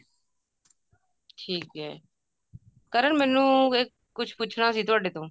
ਠੀਕ ਐ ਕਰਨ ਮੈਨੂੰ ਕੁੱਝ ਪੁੱਛਣਾ ਸੀ ਤੁਹਾਡੇ ਤੋਂ